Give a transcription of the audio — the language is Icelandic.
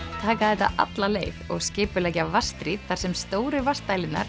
taka þetta alla leið og skipuleggja þar sem stóru